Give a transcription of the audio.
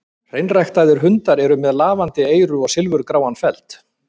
Hreinræktaðir hundar eru með lafandi eyru og silfurgráan feld.